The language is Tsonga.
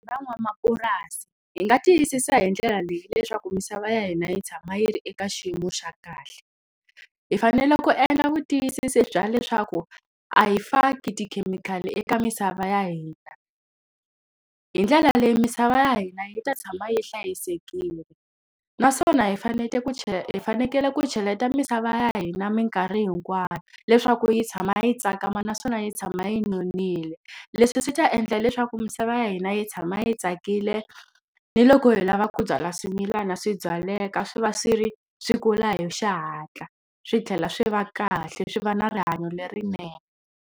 Van'wamapurasi hi nga tiyisisa hi ndlela leyi leswaku misava ya hina yi tshama yi ri eka xiyimo xa kahle. Hi fanele ku endla vutiyisisi bya leswaku a hi faki tikhemikhali eka misava ya hina, hi ndlela leyi misava ya hina yi ta tshama yi hlayisekile. Naswona hi ku hi fanekele ku cheleta misava ya hina minkarhi hinkwayo leswaku yi tshama yi tsakama naswona yi tshama yi nonile. Leswi swi ta endla leswaku misava ya hina yi tshama yi tsakile, ni loko hi lava ku byala swimilana swi byaleka swi va swi ri swi kula hi xihatla. Swi tlhela swi va kahle, swi va na rihanyo lerinene.